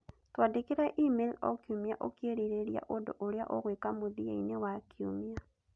Twandĩkĩre e-mail o kiumia ũkĩĩrirĩria ũndũ ũrĩa ũgwĩka mũthia-inĩ wa kiumia